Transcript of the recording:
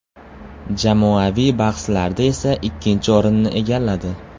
Jamoaviy bahslarda esa ikkinchi o‘rinni egalladi.